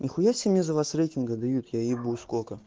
нихуя себе мне за вас рейтинга дают я ебу сколько